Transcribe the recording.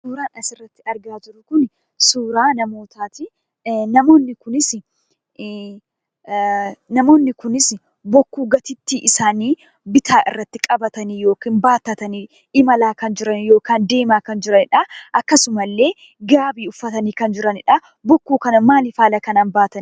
Suuraan asirratti argaa jirru Kun, suuraa namootaati. Namoonni kunis bokkuu gateettii isaanii bitaa irratti qabatanii yookiin baattatanii imalaa kan jiran yookaan deemaa kan jiranidhaa akkasuma illee gaabii uffatanii kan jiranidha. Bokkuu kana maaliif haala kanaan baatan?